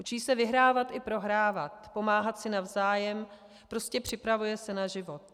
Učí se vyhrávat i prohrávat, pomáhat si navzájem, prostě připravuje se na život.